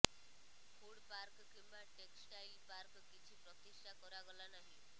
food park କିମ୍ବା textile park କିଛି ପ୍ରତିଷ୍ଠା କରାଗଲା ନାହିଁ